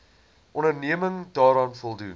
onderneming daaraan voldoen